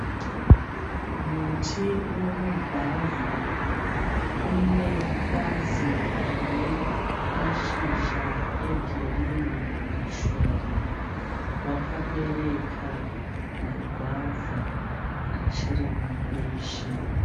Muti wemugwavha une bazi rine mashizha e girinhi mashoma. Wakabereka magwavha achiri mambishi.